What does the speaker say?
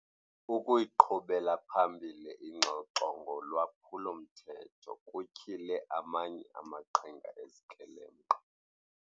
Ukuyiqhubela phambili ingxoxo ngolwaphulo-mthetho kutyhile amanye amaqhinga ezikrelemnqa.